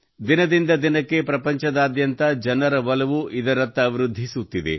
ದಿನದಿಂದ ದಿನಕ್ಕೆ ಪ್ರಪಂಚದಾದ್ಯಂತ ಜನರ ಒಲವು ಇದರತ್ತ ವೃದ್ಧಿಸುತ್ತಿದೆ